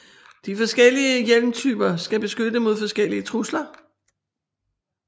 De forskellige hjelmtyper skal beskytte mod forskellige trusler